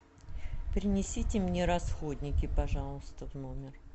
принесите мне расходники пожалуйста в номер